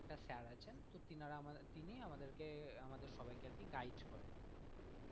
একটা sir আছেন তো তিনারা আমাদের তো তিনি আমাদেরকে আমাদের সবাইকে আর কি guide করেন,